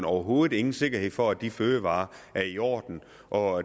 overhovedet ingen sikkerhed for at de fødevarer er i orden og